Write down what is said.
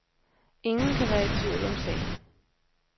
Ingen kan være i tvivl om sagen.